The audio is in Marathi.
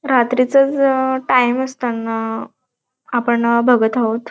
रात्री वे अ च टाइम असताना आपण बघत आहोत.